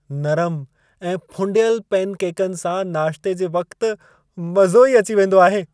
नरम ऐं फुंडियल पेनकेकनि सां नाश्ते जे वक़्तु मज़ो ई अची वेंदो आहे।